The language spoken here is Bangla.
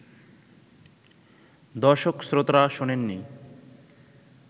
দর্শক-শ্রোতারা শোনেননি